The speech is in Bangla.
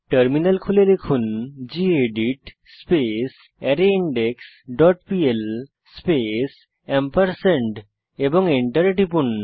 টার্মিনাল খুলে লিখুন gedit space rindex dot PL space এবং এন্টার টিপুন